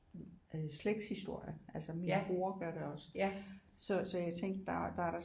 Øh slægtshistorie altså min bror gør det også så jeg tænkte der er da